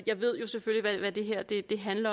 jeg beder